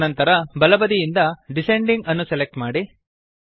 ಅನಂತರ ಬಲ ಬದಿಯಿಂದ ಡಿಸೆಂಡಿಂಗ್ ಅನ್ನು ಸೆಲೆಕ್ಟ್ ಮಾಡಿ